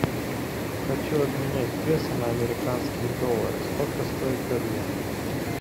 хочу обменять песо на американские доллары сколько стоит обмен